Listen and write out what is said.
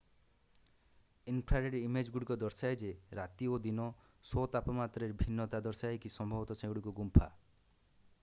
Infrared ଇମେଜ୍‌ଗୁଡ଼ିକ ଦର୍ଶାଏ ଯେ ରାତି ଓ ଦିନ ଶୋ’ ତାପମାତ୍ରାରେ ଭିନ୍ନତା ଦର୍ଶାଏ କି ସମ୍ଭବତଃ ସେଗୁଡ଼ିକ ଗୁମ୍ଫା।